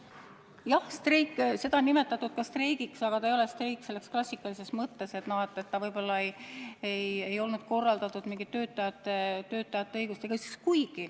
Jah, sedagi on nimetatud streigiks, aga see ei olnud streik klassikalises mõttes – see ei olnud korraldatud töötajate õiguste kaitseks.